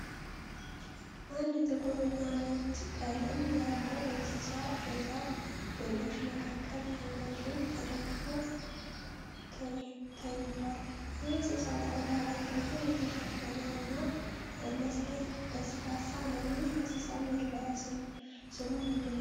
አንድ ጥቁር እና ነጭ ቀለም ያለው እንስሳ በዛፍ ግንዶች መካከል አንገቱን ተደግፎ ተንቷል። የእንስሳው ቆዳ በጸጉር የተሸፈነ እና ለስላሳ ነው። ይህ እንስሳ መለያ ስሙ ምንድን ነው?